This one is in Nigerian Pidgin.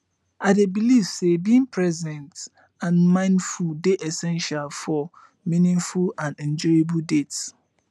i dey believe say being present and mindful dey essential for meaningful and enjoyable dates